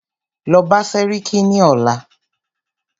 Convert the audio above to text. Lọ bá sẹ́ríkí ní ọ̀la!